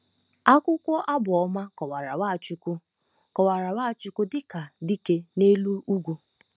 Akwụkwọ Abụ Ọma kọwara Nwachukwu kọwara Nwachukwu dị ka dike n'elu ugwu.